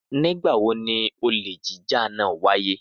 Nígbà wo ni olè jíjà náà wáyé?